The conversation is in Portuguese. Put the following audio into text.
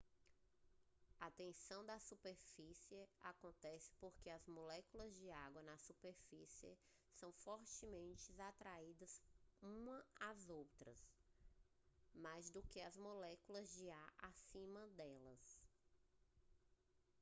a tensão de superfície acontece porque as moléculas de água na superfície são fortemente atraídas umas as outras mais do que às moléculas de ar acima delas